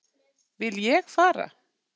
Vil ég fara?